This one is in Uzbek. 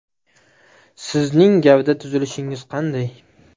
Sizning gavda tuzilishingiz qanday?